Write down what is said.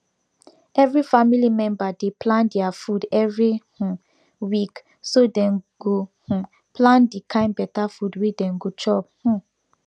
every family member dey plan their food every um week so dem go um plan dey kin better food wey dem go chop um